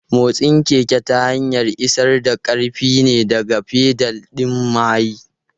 Motsin keke ta hanyar isar da ƙarfi ne daga fedal ɗin mahayi.